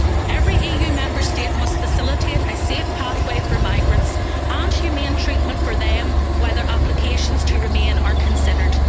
Every EU Member State must facilitate a safe pathway for migrants and humane treatment for them while their applications to remain are considered.